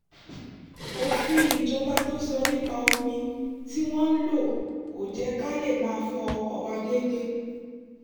òfin ìjọba tó sọ nípa omi tí wọ́n ń lò kò jẹ́ ká lè máa fọ ọkọ̀ wa déédéé